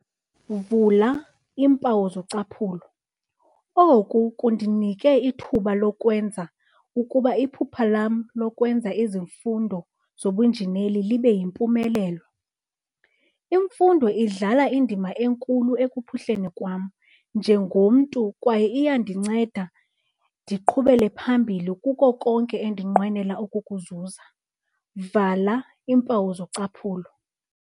"Oku kundinike ithuba lokwenza ukuba iphupha lam lokwenza izifundo zobunjineli libe yimpumelelo. Imfundo idlala indima enkulu ekuphuhleni kwam njengomntu kwaye iyandinceda ndiqhubele phambili kuko konke endinqwenela ukukuzuza."